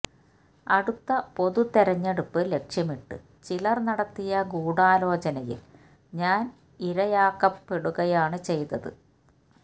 അടുത്ത പൊതു തെരഞ്ഞെടുപ്പ് ലക്ഷ്യമിട്ട് ചിലര് നടത്തിയ ഗൂഡാലോചനയില് ഞാന് ഇരയാക്കപ്പെടുകയാണ് ചെയ്തത്